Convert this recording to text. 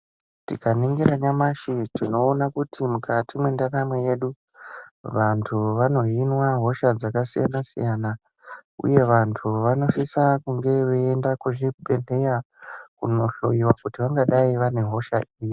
Tikaningira nyamashi tinoona kuti mukati mendaramo yedu vantu vanohinwa hosha dzakasiyana-siyana, uye vantu vanosisa kunge veienda kuzvibhedhlera kundohloyiwa kuti vangadai vane hosha ipi.